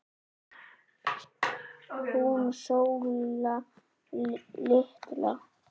Hún Sóla litla?